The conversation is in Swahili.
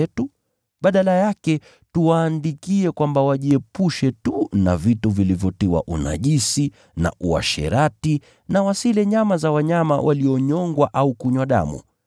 Badala yake, tuwaandikie kwamba wajiepushe na vyakula vilivyonajisiwa kwa kutolewa sanamu, wajiepushe na uasherati, au kula mnyama aliyenyongwa, na damu.